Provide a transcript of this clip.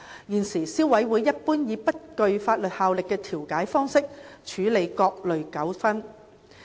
現時，消委會一般以不具法律效力的調解方式處理各類糾紛。